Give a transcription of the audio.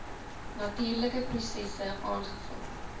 natuurlike prosesse aangevul